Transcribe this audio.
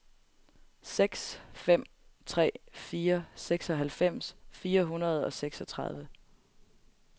seks fem tre fire seksoghalvfems fire hundrede og seksogtredive